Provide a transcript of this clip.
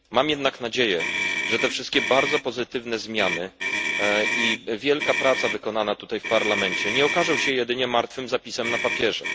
Mam jednak nadzieję, że te wszystkie bardzo pozytywne zmiany i wielka praca wykonana tutaj w Parlamencie nie okażą się jedynie martwym zapisem na papierze.